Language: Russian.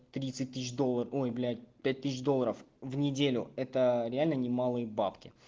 тридцать тысяч долларов ой блять пять тысяч долларов в неделю это реально немалый бабки